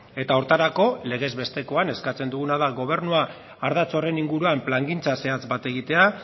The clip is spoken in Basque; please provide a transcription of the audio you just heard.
eta horretarako legez bestekoan eskatzen duguna da gobernua ardatz horren inguruan plangintza zehatz bat egitea